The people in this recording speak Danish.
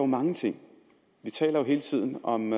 mange ting vi taler jo hele tiden om